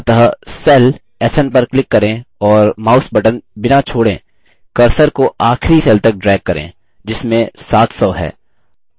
अतः cell sn पर click करें और mouse button बिना छोड़ें cursor को आखिरी cell तक drag करें जिसमें 700 है